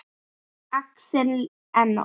Axel Enok.